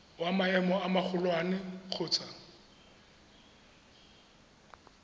wa maemo a magolwane kgotsa